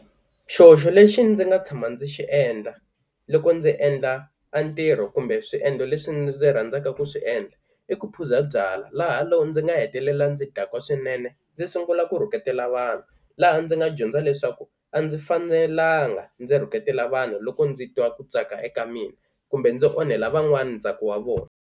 Xihoxo lexi ndzi nga tshama ndzi xi endla loko ndzi endla a ntirho kumbe swiendlo leswi ndzi rhandzaka ku swi endla i ku phuza byala, laha loko ndzi nga hetelela ndzi dakwa swinene, ndzi sungula ku rhuketela vanhu. Laha ndzi nga dyondza leswaku a ndzi fanelanga ndzi rhuketela vanhu loko ndzi twa ku tsaka eka mina kumbe ndzi onhela van'wana ntsako wa vona.